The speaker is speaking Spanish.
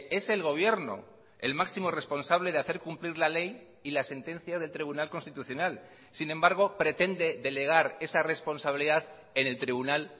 es el gobierno el máximo responsable de hacer cumplir la ley y la sentencia del tribunal constitucional sin embargo pretende delegar esa responsabilidad en el tribunal